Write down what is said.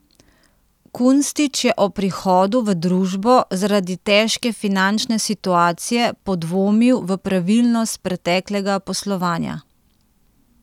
Kunstič je ob prihodu v družbo zaradi težke finančne situacije podvomil v pravilnost preteklega poslovanja.